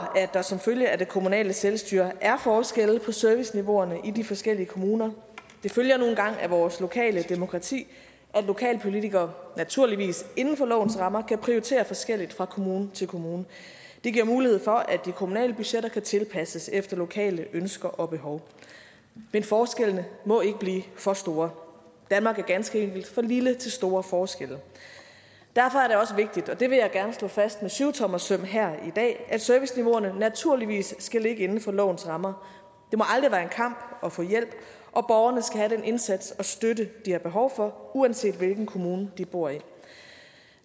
at der som følge af det kommunale selvstyre er forskelle i serviceniveauerne i de forskellige kommuner det følger nu engang af vores lokale demokrati at lokalpolitikere naturligvis inden for lovens rammer kan prioritere forskelligt fra kommune til kommune det giver mulighed for at de kommunale budgetter kan tilpasses efter lokale ønsker og behov men forskellene må ikke blive for store danmark er ganske enkelt for lille til store forskelle derfor er det også vigtigt og det vil jeg gerne slå fast med syvtommersøm her i dag at serviceniveauerne naturligvis skal ligge inden for lovens rammer det må aldrig være en kamp at få hjælp og borgerne skal have den indsats og støtte de har behov for uanset hvilken kommune de bor i